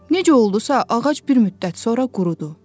Necə oldusa, ağac bir müddət sonra qurudu.